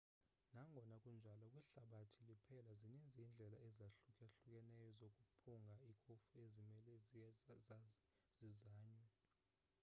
nangona kunjalo kwihlabathi liphela zininzi iindlela ezahlukahlukeneyo zokuphunga ikofu ezimele zizanywe